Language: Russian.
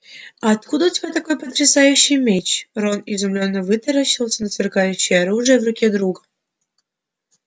а откуда у тебя такой потрясающий меч рон изумлённо вытаращился на сверкающее оружие в руке друга